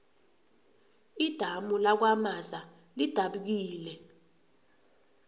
idamu lakwamaza lidabukile